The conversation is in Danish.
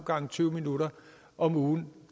gange tyve minutter om ugen